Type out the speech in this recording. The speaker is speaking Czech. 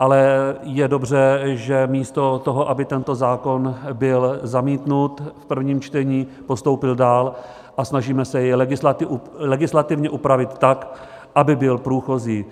ale je dobře, že místo toho, aby tento zákon byl zamítnut v prvním čtení, postoupil dál a snažíme se jej legislativně upravit tak, aby byl průchozí.